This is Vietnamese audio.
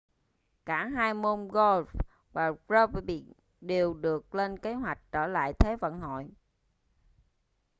cả hai môn golf và rugby đều được lên kế hoạch trở lại thế vận hội